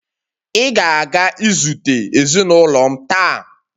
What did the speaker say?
Ị ga-aga izute ezinụlọ m taa!